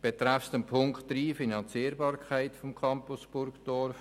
Betreffend Punkt 3, Finanzierbarkeit des Campus Burgdorf